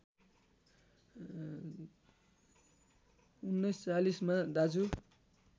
१९४० मा दाजु